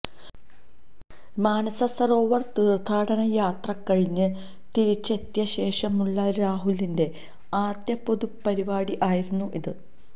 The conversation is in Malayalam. മാനസ സരോവര് തീര്ത്ഥാടന യാത്ര കഴിഞ്ഞ് തിരിച്ചെത്തിയ ശേഷമുള്ള രാഹുലിന്റെ ആദ്യ പൊതുപരിപാടി ആയിരുന്നു ഇത്